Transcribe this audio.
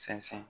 Sɛnsɛn